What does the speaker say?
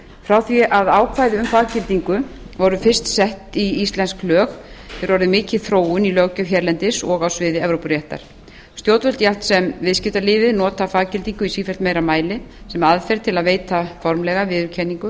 frá því að ákvæði um faggildingu voru fyrst sett í íslensk lög hefur orðið mikil þróun í löggjöf hérlendis og á sviði evrópuréttar stjórnvöld jafnt sem viðskiptalífið nota faggildingu í sífellt meira mæli sem aðferð til að veita formlega viðurkenningu á